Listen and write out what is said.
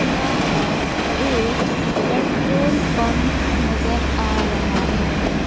यहां एक petrol pump नजर आ रहा है।